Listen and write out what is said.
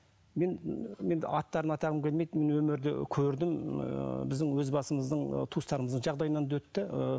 мен ы енді аттарын атағым келмейді мен өмірде көрдім ы біздің өз басымыздың ы туыстарымыздың жағдайынан да өтті ыыы